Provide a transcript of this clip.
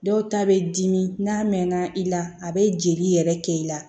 Dɔw ta bɛ dimi n'a mɛnna i la a bɛ jeli yɛrɛ kɛ i la